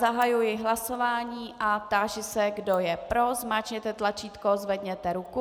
Zahajuji hlasování a táži se, kdo je pro, zmáčkněte tlačítko, zvedněte ruku.